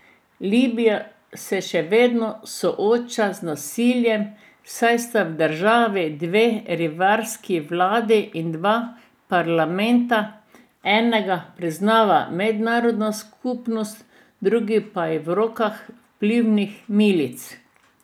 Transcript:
Libija se še vedno sooča z nasiljem, saj sta v državi dve rivalski vladi in dva parlamenta, enega priznava mednarodna skupnost, drugi pa je v rokah vplivnih milic.